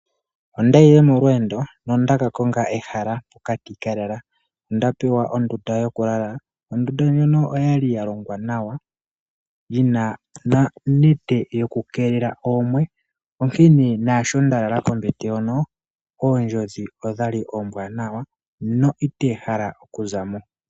Ondayile molwendo nondakakonga ehala poka tikalala, ondapewa ondunda yokulala ondunda ndjono oyali yalongwa nawa yino nonete yoku kelela oomwe onkene nasho ndalala kombete hono ondjodhi okwali ombwanawa no itehala oku zamo.